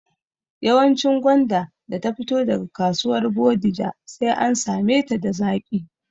Yawancin gwanda da ta fito daga kasuwar Bodija sai an same ta da zaƙi